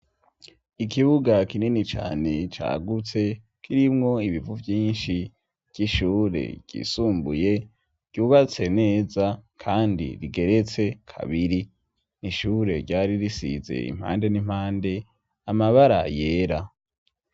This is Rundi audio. Ikibuga kinini cane cagutse kirimwo ibivu vyinshi vy'ishure yisumbuye ryubatse neza kandi rigeretse kabiri n'ishure ryari risize impande n'impande amabara yera.